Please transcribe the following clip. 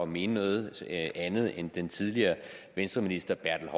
mene noget andet end den tidligere venstreminister herre